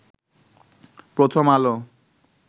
প্রথম আলো